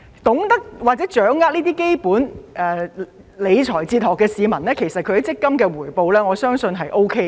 懂得或者掌握這些基本理財哲學的市民，我相信其強積金回報是 OK 的。